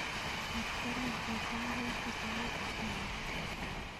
Metrolink netai koitu sait ata yeech